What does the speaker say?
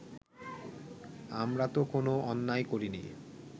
আমরা তো কোনো অন্যায় করিনি